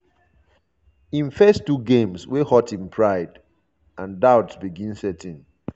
im first two games wey hurt im pride and doubts begin set in.